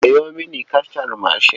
Sayo mini kacar mashin.